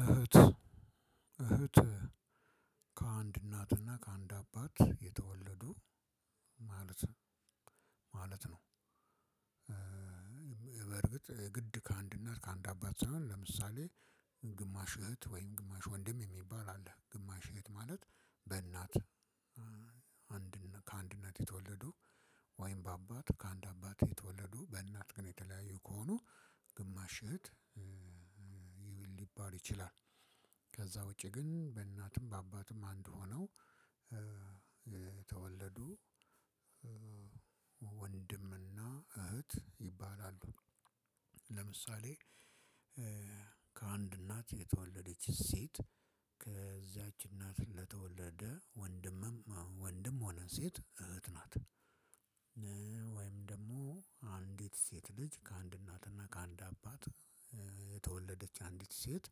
እህት እህት ከአንድ እናትና ከአንድ አባት የተወለዱ ማለት ማለት ነው። በርግጥ ግድ ከአንድ እናት ከአንድ አባት ሳይሆን ለምሳሌ ግማሽ እህት ወይም ግማሽ ወንድም የሚባል አለ ግማሽ እህት ማለት በእናት ከአንድ እናት የተወለዱ ወይም በአባት ከአንድ አባት የተወለዱ በእናት ግን የተለያየ ከሆኑ ግማሽ እህት ሊባል ይችላል። ከዛ ውጭ ግን በእናትም በአባትም እንድ ሆነው የተወለዱ ወንድምና እህት ይባላሉ። ለምሳሌ ከአንድ እናት የተወለደች ሴት ከዚያች እናት ለተወለደ ወንድምም ወንድም ሆነ ሴት እህት ናት። ወይም ደግሞ አንዲት ሴት ልጅ ከአንድ እናትና ከአንድ አባት የተወለደች አንዲት ሴት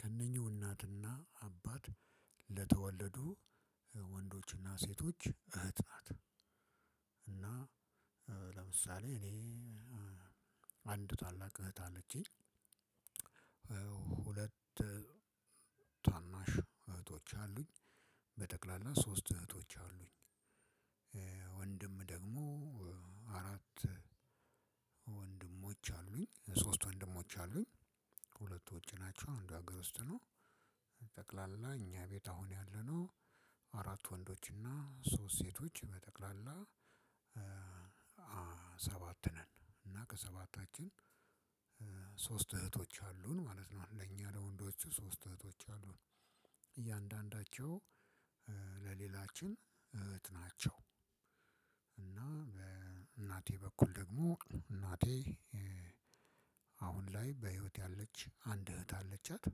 ከእነኚሁ እናትና አባት ለተወለዱ ወንዶችና ሴቶች እህት ናት። እና ለምሳሌ እኔ አንድ ታላቅ እህት አለችኝ። ሁለት ታናሽ እህቶች አሉኝ በጠቅላላ ሶስት እህቶች አሉኝ። ወንድም ደግሞ አራት ወንድሞች አሉኝ ሶስት ወንድሞች አሉኝ። ሁለቱ ወጪ ናቸው እንዱ ሀገር ውስጥ ነው። ጠቅላላ እኛ ቤት አሁን ያለነው አራት ወንዶች እና ሶስት ሴቶች በጠቅላላ ሰባት ነን። እና ከሰባታችን ሶስት እህቶች አሉን ማለት ነው ለኛ ለወንዶቹ ሶስት እህቶች አሉን። እያንዳንዳቸው ለሌላችን እህት ናቸው። እና በእናቴ በኩል ደግሞ እናቴ አሁን ላይ በህይወት ያለች አንድ እህት አለቻት።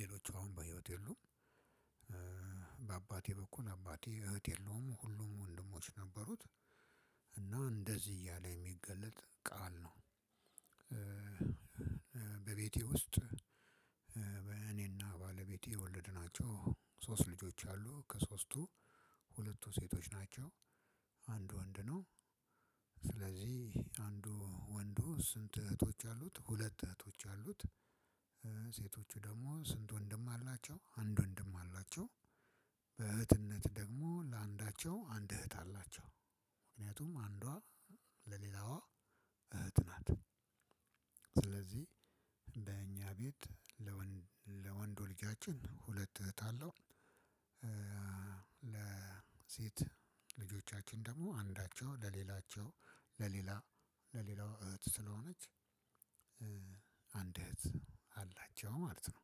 ሌሎች አሁን በህይወት የሉም። በአባቴ በኩል አባቴ እህት የለውም ሁሉም ወንድሞች ነበሩት። እና እንደዚህ እያለ የሚገለጥ ቃል ነው። በቤቴ ውስጥ በእኔና ባለቤቴ የወለድናቸው ሶስት ልጆች አሉ ከሶስቱ ሁለቱ ሴቶች ናቸው። አንድ ወንድ ነው። ስለዚህ አንዱ ወንዱ ስንት እህቶች አሉት? ሁለት እህቶች አሉት። ሴቶቹ ደግሞ ስንት? ወንድም አላቸው አንድ ወንድም አላቸው። በእህትነት ደግሞ ለአንዳቸው አንድ እህት አላቸው። ምክንያቱም አንዷ ለሌላዋ እህት ናት። ስለዚህ በእኛ ቤት ለወንድ ለወንዱ ልጃችን ሁለት እህት አለው። ለሴት ልጆቻችን ደግሞ አንዳቸው ለሌላቸው ለሌላ ለሌላው እህት ስለሆነች አንድ እህት አላቸው ማለት ነው።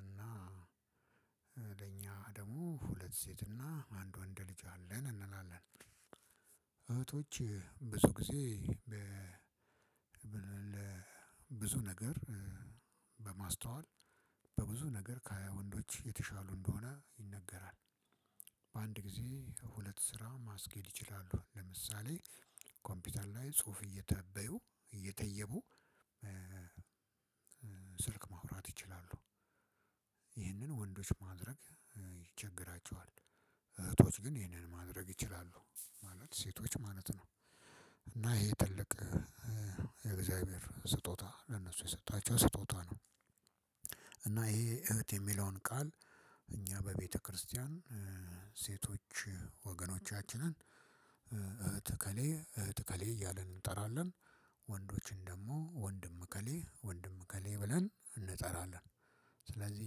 እና ለኛ ደግሞ ሁለት ሴትና አንድ ወንድ ልጅ አለን እንላለን። እህቶቼ ብዙ ጊዜ ብዙ ነገር በማስተዋል በብዙ ነገር ከሃያ ወንዶች የተሻሉ እንደሆነ ይነገራል። በአንድ ጊዜ ሁለት ስራ ማስኬድ ይችላሉ። ለምሳሌ ኮምፒውተር ላይ ጽሁፍ እያታበዩ እየተየቡ ስልክ ማውራት ይችላሉ። ይህንን ወንዶች ማድረግ ይቸገራቸዋል። ግን ይሄንን ማድረግ ይችላሉ ማለት ሴቶች ማለት ነው። እና ይሄ ትልቅ የእግዚሀብሄር ለእነሱ የሰጣቸው ስጦታ ነው። እና ይሄ እህት የሚለውን ቃል እኛ በቤተክርስቲያን ሴቶች ወገኖቻችንን እህት ኤኬሌ እህት እኬሌ እያለን እንጠራለን። ወንዶችን ደግሞ ወንድም እከሌ ወንድም እከሌ ብለን እንጠራለን። ስለዚህ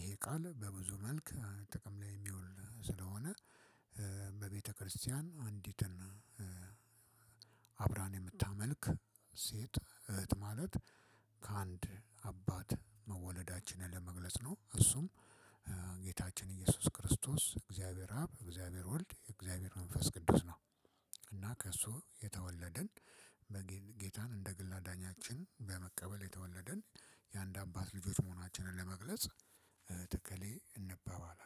ይሄ ቃል በብዙ መልክ ጥቅም ላይ የሚውል ስለሆነ በቤተክርስቲያን አንዲትን አብራን የምታመልክ ሴት እህት ማለት ከአንድ አባት መወለዳችንን ለመግለጽ ነው። እሱም ጌታችን ኢየሱስ ክርስቶስ እግዚአብሔር አብ እግዚአብሔር ወልድ የእግዚአብሔር መንፈስ ቅዱስ ነው። እና ከእሱ የተወለደን ጌታን እንደ ግል አዳኛችን በመቀበል የተወለደን የአንድ አባት ልጆች መሆናችንን ለመግለጽ እህት ኤኬሌ እንባባላለን።